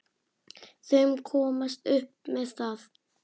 Þau komast upp með það!